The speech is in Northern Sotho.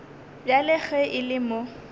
bjale ge e le mo